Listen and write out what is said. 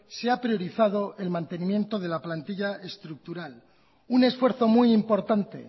se ha priorizado el mantenimiento de la plantilla estructural un esfuerzo muy importante